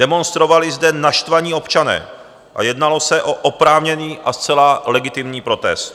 Demonstrovali zde naštvaní občané a jednalo se o oprávněný a zcela legitimní protest.